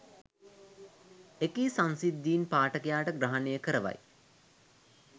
එකී සංසිද්ධීන් පාඨකයාට ග්‍රහණය කරවයි